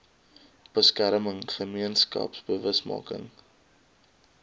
beskerming gemeenskaps bewusmaking